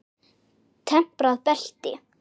Temprað belti.